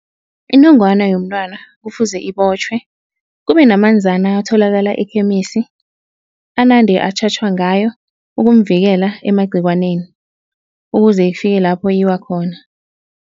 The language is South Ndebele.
Inongwana yomntwana kufuze ibotjhwe, kube namanzana atholakala ekhemisi anande atjhatjhwa ngayo ukumvikela emagciwaneni, ukuze ifike lapho iwa khona.